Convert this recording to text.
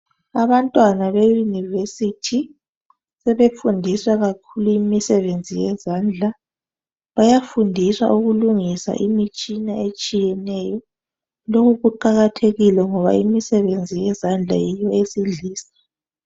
Abantwana be University sebefundiswa kakhulu imisebenzi yezandla ,bayafundiswa ukulungisa imitshina etshiyeneyo lokhu kuqakathekile ngoba imsebenzi yezandla yiyo esidlisa